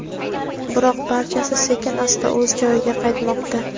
Biroq barchasi sekin-asta o‘z joyiga qaytmoqda.